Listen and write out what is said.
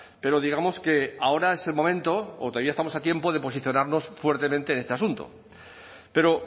pero digamos que ahora es el momento o todavía estamos a tiempo de posicionarnos fuertemente en este asunto pero